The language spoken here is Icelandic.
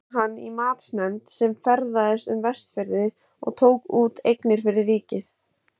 Svo var hann í matsnefnd sem ferðaðist um Vestfirði og tók út eignir fyrir ríkið.